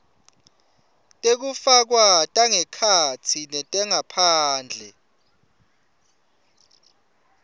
tekufakwa tangekhatsi netangephandle